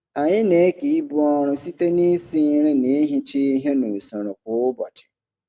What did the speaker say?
Anyị na-eke ibu ọrụ site nisi nri na ihicha ihe nusoro kwa ụbọchị.